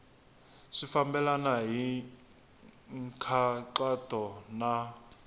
swi fambelena hi nkhaqato na